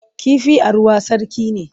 Kifi a ruwa sarki ne.